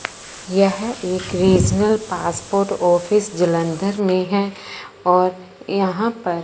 यह एक regional passport office Jalandhar में है और यहां पर--